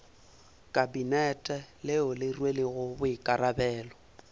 kabinete leo le rwelego boikarabelo